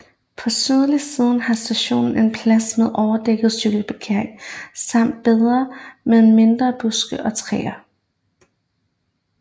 På sydlig side har stationen en plads med overdækket cykelparkering samt bede med mindre buske og træer